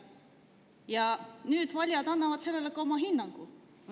Ja nüüd valijad annavad sellele ka oma hinnangu.